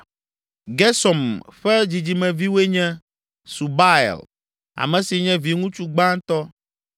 Gersom ƒe dzidzimeviwoe nye, Subael, ame si nye viŋutsu gbãtɔ.